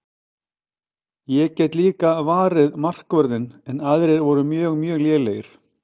Ég get líka varið markvörðinn en aðrir voru mjög mjög lélegir.